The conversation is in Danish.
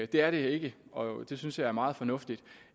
det er det ikke og det synes jeg er meget fornuftigt